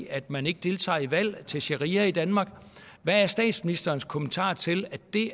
at man ikke deltager i valg og opfordret til sharia i danmark hvad er statsministerens kommentar til at det